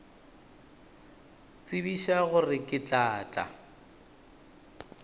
tsebiša gore ke tla tla